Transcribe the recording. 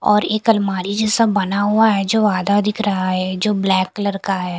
और एक अलमारी जैसा बना हुआ है जो आधा दिख रहा है जो ब्लैक कलर का है।